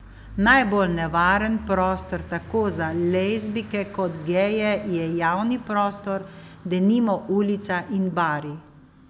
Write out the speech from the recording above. Najbolj nevaren prostor tako za lezbijke kot geje je javni prostor, denimo ulica in bari.